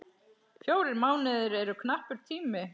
Fjórir mánuðir eru knappur tími.